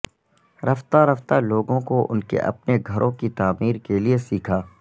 رفتہ رفتہ لوگوں کو ان کے اپنے گھروں کی تعمیر کے لئے سیکھا